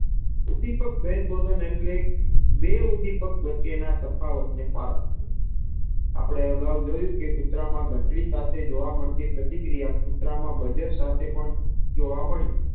ભેદ બૌદ્ધક એટલે બે ઉદીપક વચ્ચેના તફાવતને પારખવું અપડે અજાવ જોયું કે કૂતરામાં ધંટડી સાથે જોવા મળતી પ્રતિ ક્રિયા કૂતરામાં બજર સાથેપણ જોવા મળ્યુ